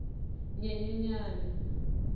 nyenyenyane